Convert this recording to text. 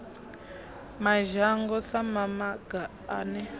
madzhango sa mamaga a ne